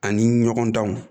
Ani ɲɔgɔndanw